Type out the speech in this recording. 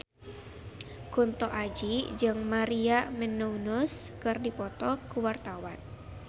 Kunto Aji jeung Maria Menounos keur dipoto ku wartawan